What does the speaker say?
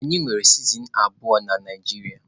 Anyi nwere sizen abuọ na Naijiria.